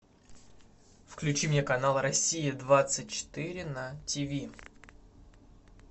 включи мне канал россия двадцать четыре на тв